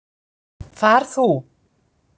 Far þú.